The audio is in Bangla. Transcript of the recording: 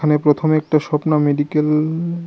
এ প্রথমে একটা স্বপ্না মেডিকেল --